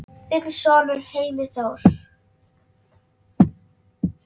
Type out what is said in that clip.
Þinn sonur Heimir Þór.